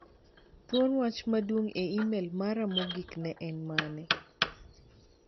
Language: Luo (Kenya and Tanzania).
Thuor wach maduong' e imel mara mogik ne en mane?